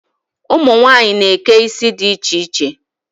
Ụmunwanyị na-eke isi di iche iche.